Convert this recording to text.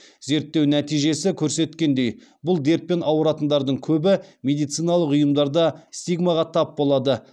зерттеу нәтижесі көрсеткендей бұл дертпен ауыратындардың көбі медициналық ұйымдарда стигмаға тап болады